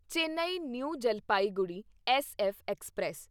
Chennai New Jalpaiguri SF express